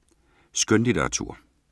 Skønlitteratur